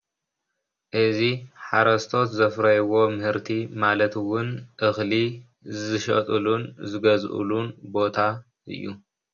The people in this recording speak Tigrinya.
እዚ ሓረስቶት ዘፍረይዎ ምህርቲ ማለት ውን እኽሊ ዝሸጥሉን ዝገዝኡሉን ቦታ እዩ።